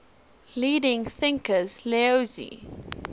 leading thinkers laozi